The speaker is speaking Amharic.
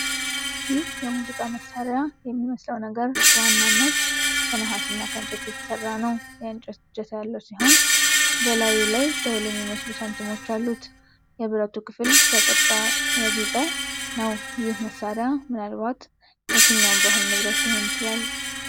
ይህ የሙዚቃ መሣሪያ የሚመስለው ነገር በዋናነት ከነሐስና ከእንጨት የተሰራ ነው። የእንጨት እጀታ ያለው ሲሆን፣ በላዩ ላይ ደወል የሚመስሉ ሳንቲሞች አሉት። የብረቱ ክፍል በቅረጻ ያጌጠ ነው። ይህ መሣሪያ ምናልባት የትኛው ባህል ንብረት ሊሆን ይችላል?